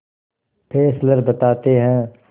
Fessler बताते हैं